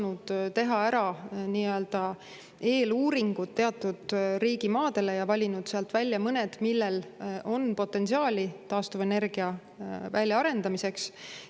nii-öelda eeluuringud teatud riigimaadele ja valinud sealt välja mõned, millel on potentsiaali taastuvenergia väljaarendamiseks.